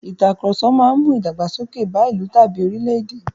Ìtàkurọ̀sọ máa mú ìdàgbàsókè bá ìlú tàbí orílè-èdè.